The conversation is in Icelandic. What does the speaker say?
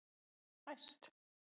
Þá fæst